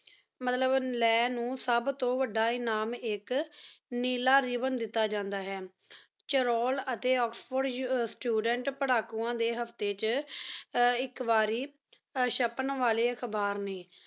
ਮਤਲਬ ਲਾਂ ਨੂ ਸਬ ਤੂੰ ਵਾਦਾ ਇਮਾਨ ਏਕ ਨੀਲਾ ਰਿਵ੍ਨ ਦੇਤਾ ਜਾਂਦਾ ਆਯ ਚੁਰੁਣ ਅਤੀ ਏਕ੍ਸ੍ਫੋੜੇ ਸਟੂਡੇੰਟ ਪ੍ਰਕੁਆਂ ਡੀ ਹ੍ਫ੍ਟੀ ਚ ਆਯ ਏਕ ਵਾਰੀ ਸ਼ਪੇਨ ਵਾਲੀ ਅਖਬਾਰ ਨੀ